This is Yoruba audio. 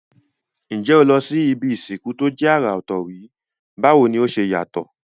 N jé o ti lo si ibi ìsìnkú to je àrà òtò rí, báwoni o se yàtò?